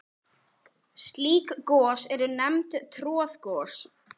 Slík gos eru nefnd troðgos.